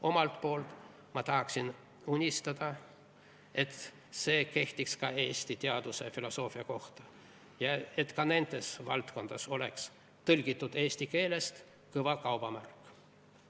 Omalt poolt ma unistan, et see kehtiks ka Eesti teaduse ja filosoofia kohta, et ka nendes valdkondades oleks "Tõlgitud eesti keelest" kõva kaubamärk.